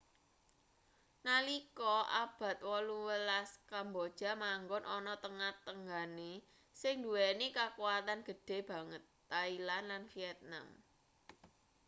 nalika abad 18 kamboja manggon ana tengah tanggane sing nduweni kakuwatan gedhe banget thailand lan vietnam